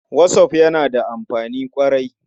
Whatsapp yana da amfani ƙwarai.